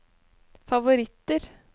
favoritter